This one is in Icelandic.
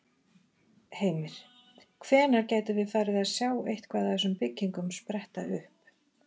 Heimir: Hvenær gætum við farið að sjá eitthvað af þessum byggingum spretta upp?